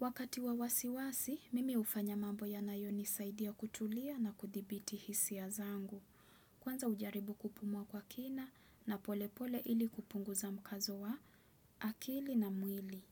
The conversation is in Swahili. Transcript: Wakati wa wasiwasi, mimi hufanya mambo yanayonisaidia kutulia na kuthibiti hisia zangu. Kwanza hujaribu kupumua kwa kina na pole pole ili kupunguza mkazo wa akili na mwili.